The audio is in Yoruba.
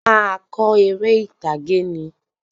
A máa kọ eré ìtàgé ni